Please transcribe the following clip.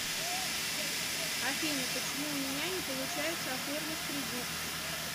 афина почему у меня не получается оформить кредит